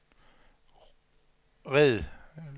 red